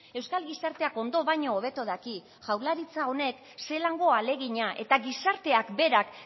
euskal gizarteak ondo baino hobeto daki jaurlaritza honek zelango ahalegina eta gizarteak berak